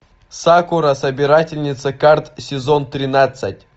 сакура собирательница карт сезон тринадцать